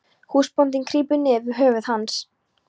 Húsbóndinn krýpur niður við höfuð hans.